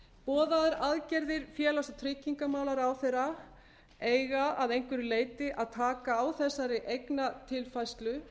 boðaðar aðgerðir félags og tryggingamálaráðherra eiga að einhverju leyti að taka á þessari eignatilfærslu